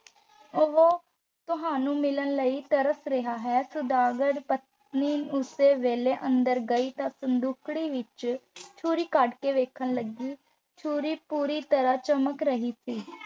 ਉਹ ਤੁਹਾਨੂੰ ਮਿਲਣ ਲਈ ਤਰਸ ਰਿਹਾ ਹੈ ਸੁਦਾਗਰ ਪਤਨੀ ਉਸ ਵੇਲੇ ਅੰਦਰ ਗਈ ਅਤੇ ਸੰਦੂਕੜੀ ਵਿੱਚੋਂ ਛੁਰੀ ਕੱਢ ਕੇ ਵੇਖਣ ਲੱਗੀ ਛੁਰੀ ਪੂਰੀ ਤਰ੍ਹਾਂ ਚਮਕ ਰਹੀ ਸੀ।